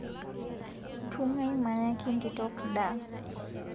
Tung'ai mayaki nkitok ndaa